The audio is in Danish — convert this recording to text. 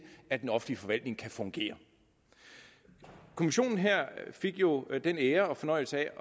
at den offentlige forvaltning kan fungere kommissionen her fik jo den ære og fornøjelse